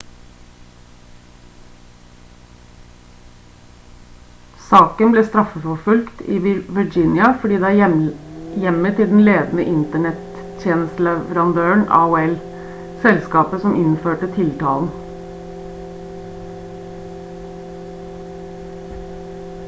saken ble straffeforfulgt i virginia fordi det er hjemmet til den ledende internett-tjenesteleverandøren aol selskapet som innførte tiltalen